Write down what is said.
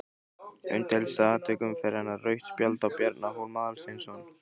Umdeildasta atvik umferðarinnar: Rautt spjald á Bjarna Hólm Aðalsteinsson?